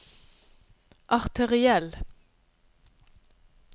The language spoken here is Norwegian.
arteriell